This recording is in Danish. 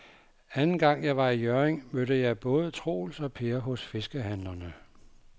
Anden gang jeg var i Hjørring, mødte jeg både Troels og Per hos fiskehandlerne.